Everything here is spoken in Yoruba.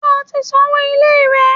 Ṣé o ti san owó ilé rẹ?